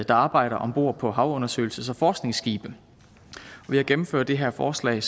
arbejder om bord på havundersøgelses og forskningsskibe ved at gennemføre det her forslag